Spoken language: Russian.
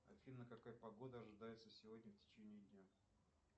афина какая погода ожидается сегодня в течение дня